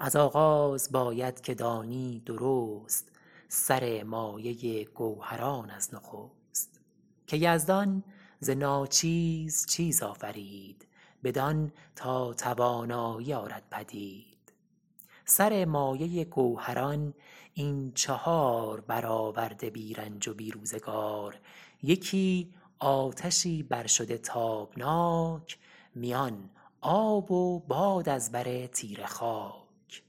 از آغاز باید که دانی درست سر مایه گوهران از نخست که یزدان ز ناچیز چیز آفرید بدان تا توانایی آرد پدید سر مایه گوهران این چهار برآورده بی رنج و بی روزگار یکی آتشی بر شده تابناک میان آب و باد از بر تیره خاک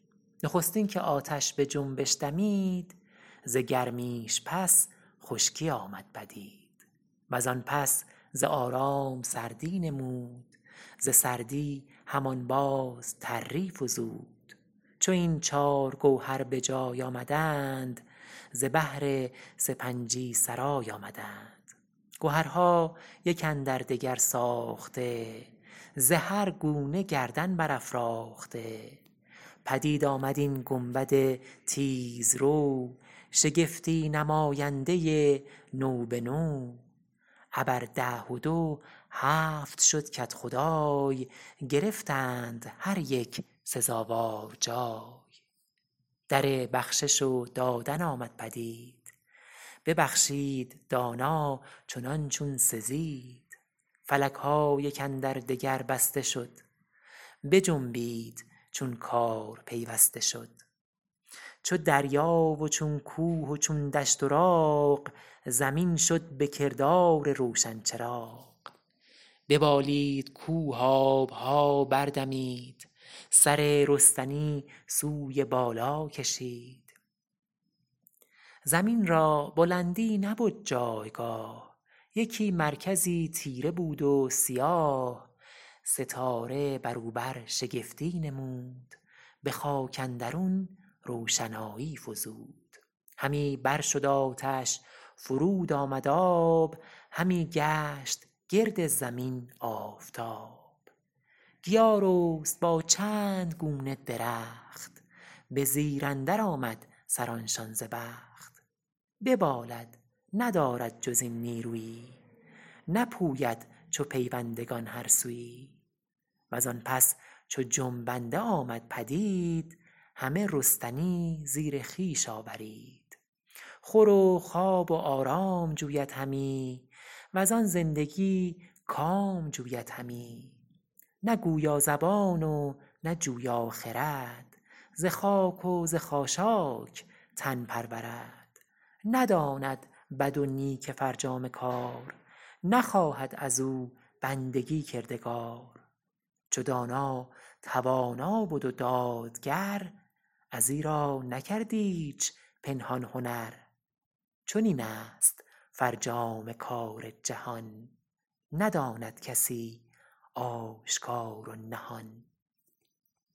نخستین که آتش به جنبش دمید ز گرمیش پس خشکی آمد پدید و زان پس ز آرام سردی نمود ز سردی همان باز تری فزود چو این چار گوهر به جای آمدند ز بهر سپنجی سرای آمدند گهرها یک اندر دگر ساخته ز هر گونه گردن برافراخته پدید آمد این گنبد تیز رو شگفتی نماینده نو به نو ابر ده و دو هفت شد کدخدای گرفتند هر یک سزاوار جای در بخشش و دادن آمد پدید ببخشید دانا چنان چون سزید فلک ها یک اندر دگر بسته شد بجنبید چون کار پیوسته شد چو دریا و چون کوه و چون دشت و راغ زمین شد به کردار روشن چراغ ببالید کوه آب ها بر دمید سر رستنی سوی بالا کشید زمین را بلندی نبد جایگاه یکی مرکزی تیره بود و سیاه ستاره بر او برشگفتی نمود به خاک اندرون روشنایی فزود همی بر شد آتش فرود آمد آب همی گشت گرد زمین آفتاب گیا رست با چند گونه درخت به زیر اندر آمد سران شان ز بخت ببالد ندارد جز این نیرویی نپوید چو پویندگان هر سویی و زان پس چو جنبنده آمد پدید همه رستنی زیر خویش آورید خور و خواب و آرام جوید همی و زان زندگی کام جوید همی نه گویا زبان و نه جویا خرد ز خاک و ز خاشاک تن پرورد نداند بد و نیک فرجام کار نخواهد از او بندگی کردگار چو دانا توانا بد و دادگر از ایرا نکرد ایچ پنهان هنر چنین است فرجام کار جهان نداند کسی آشکار و نهان